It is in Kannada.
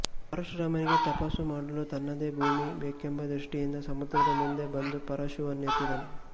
ಪರಶುರಾಮನಿಗೆ ತಪಸ್ಸು ಮಾಡಲು ತನ್ನದೇ ಭೂಮಿ ಬೇಕೆಂಬ ದೃಷ್ಠಿಯಿಂದ ಸಮುದ್ರದ ಮುಂದೆ ಬಂದು ಪರಶುವನ್ನು ಎತ್ತಿದನು